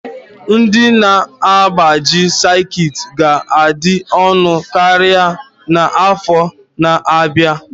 Ndị na-agbaji sekit ga-adị ọnụ karịa n'afọ na-abịa